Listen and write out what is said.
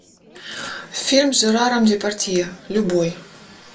фильм с жераром депардье любой